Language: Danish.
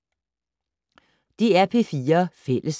DR P4 Fælles